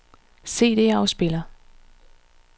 CD-afspiller